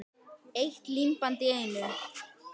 Eitt límband í einu.